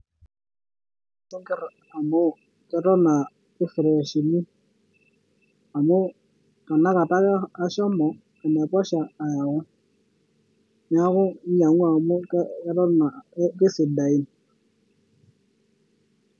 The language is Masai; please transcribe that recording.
Sinkir amu Eton aa kefreshini, amu tenakata ake ashomo anaiposha ayau, neaku nyiang'u amu keton aa amu kesidain.